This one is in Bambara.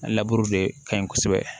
laburu de ka ɲi kosɛbɛ